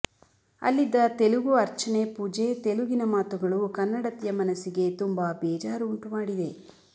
ಅಲ್ಲಿದ್ದ ತೆಲುಗು ಅರ್ಚನೆ ಪೂಜೆ ತೆಲುಗಿನ ಮಾತುಗಳು ಕನ್ನಡತಿಯ ಮನಸ್ಸಿಗೆ ತುಂಬಾ ಬೇಜಾರು ಉಂಟುಮಾಡಿದೆ